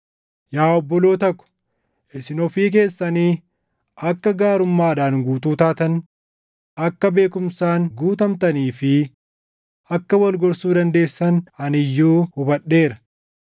Yaa obboloota ko, isin ofii keessanii akka gaarummaadhaan guutuu taatan, akka beekumsaan guutamtanii fi akka wal gorsuu dandeessan ani iyyuu hubadheera.